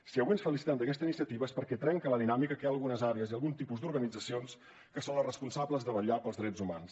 si avui ens felicitem d’aquesta iniciativa és perquè trenca la dinàmica que hi ha algunes àrees i algun tipus d’organitzacions que són les responsables de vetllar pels drets humans